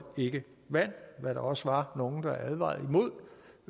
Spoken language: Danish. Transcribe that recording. vand hvad der også var nogle der advarede